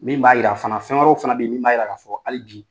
Min b'a jira fana, fɛn wɛrɛw fana bɛ yen min b'a jira k'a fɔ hali bi